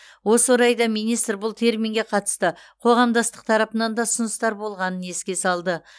осы орайда министр бұл терминге қатысты қоғамдастық тарапынан да ұсыныстар болғанын еске салды